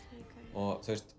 og